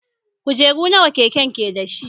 Kujeru nawa keken ke dashi?